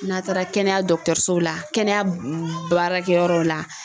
N'a taara kɛnɛya dɔgɔtɔrɔso la kɛnɛyaw la.